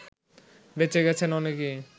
বেঁচে গেছেন অনেকেই